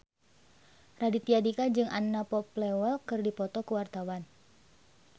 Raditya Dika jeung Anna Popplewell keur dipoto ku wartawan